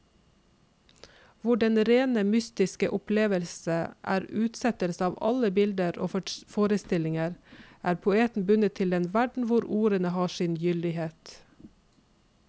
Hvor den rene mystiske opplevelse er utslettelse av alle bilder og forestillinger, er poeten bundet til den verden hvor ordene har sin gyldighet.